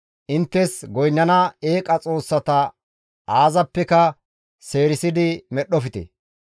«Inttes goynnana eeqa xoossata aazappeka seerisidi medhdhofte.